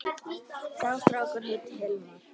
Sá strákur heitir Hilmar.